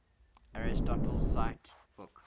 aristotle cite book